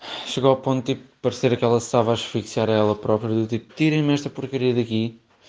колосова швейцария